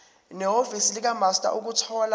nehhovisi likamaster ukuthola